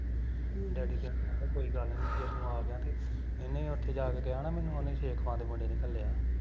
daddy ਕਹਿੰਦੇ ਕੋਈ ਗੱਲ ਨੀ ਜੇ ਤੂੰ ਆਗਿਆ ਤੇ, ਇਹਨੇ ਉੱਥੇ ਜਾਂ ਕੇ ਕਿਹਾ ਹੋਣਾ ਮੈਨੂੰ ਉਹਨੇ ਸੇਖਵਾਂ ਦੇ ਮੁੰਡੇ ਘੱਲਿਆ